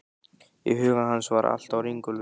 Í huga hans var allt á ringulreið.